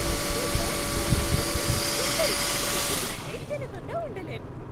ఈ dark chocolate truffle గొప్ప రుచిని రుచి చూస్తే తినకుండా ఉండలేం.